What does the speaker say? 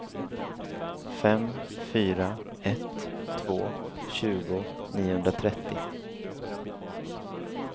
fem fyra ett två tjugo niohundratrettio